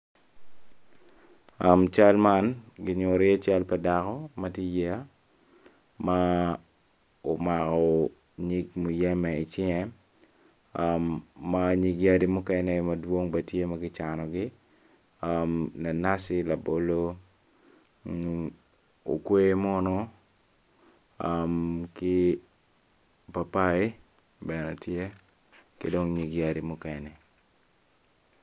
Cal man ki nyuto dako ma tye i yeya omako muyembe i cinge, nyig yadi mukene tye calo papayi ki nyig yadi mukene.